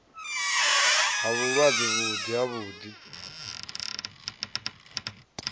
ha vhulwadze vhuḓi ha luḓi